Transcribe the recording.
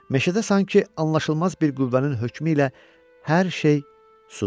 Meşədə sanki anlaşılmaz bir qüvvənin hökmü ilə hər şey susdu.